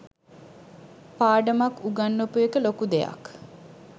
පාඩමක් උගන්වපු එක ලොකු දෙයක්.